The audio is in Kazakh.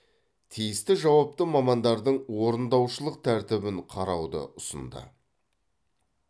тиісті жауапты мамандардың орындаушылық тәртібін қарауды ұсынды